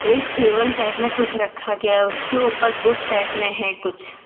एक table type में कुछ रखा गया उसके ऊपर बुक टाइप में है कुछ --